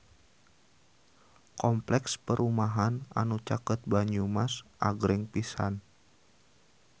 Kompleks perumahan anu caket Banyumas agreng pisan